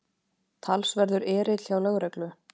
Talsverður erill hjá lögreglu